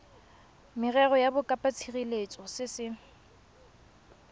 merero ya bokopatshireletso se se